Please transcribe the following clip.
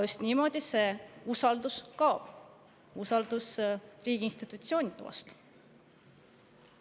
Just niimoodi see usaldus kaob, usaldus riigi institutsioonide vastu.